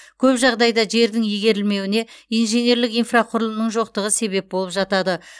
көп жағдайда жердің игерілмеуіне инженерлік инфрақұрылымның жоқтығы себеп болып жатады